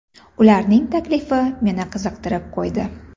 Ularning taklifi meni qiziqtirib qo‘ydi.